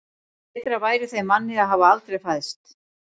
Betra væri þeim manni að hafa aldrei fæðst.